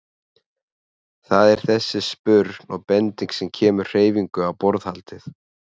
Það er þessi spurn og bending sem kemur hreyfingu á borðhaldið.